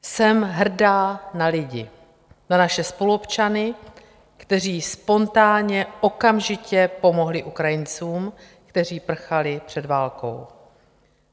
Jsem hrdá na lidi, na naše spoluobčany, kteří spontánně, okamžitě pomohli Ukrajincům, kteří prchali před válkou.